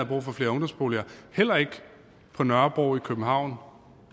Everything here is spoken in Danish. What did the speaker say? brug for flere ungdomsboliger heller ikke på nørrebro i københavn